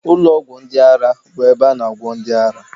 Ụlọ ọgwụ ndị ara bụ ebe a na agwọ ndị ara